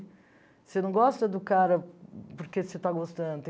Você não gosta do cara porque você está gostando.